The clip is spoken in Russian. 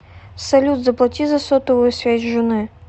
салют заплати за сотовую связь жены